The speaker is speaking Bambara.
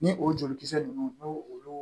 Ni o jolikisɛ ninnu n'o olu